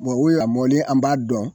u ya mɔlen an b'a dɔn